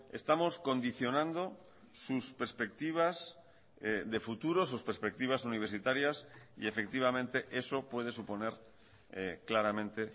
estamos condicionando sus perspectivas de futuro sus perspectivas universitarias y efectivamente eso puede suponer claramente